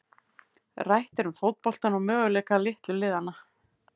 Rætt er um fótboltann og möguleika litlu liðanna.